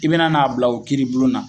I bena n'a bila o kiiri bulon na